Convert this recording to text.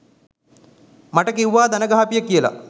මට කිවුවා දණගහපිය කියලා